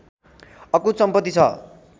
अकुत सम्पत्ति छ